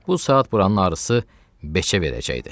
Bu saat buranın arısı beçə verəcəkdi.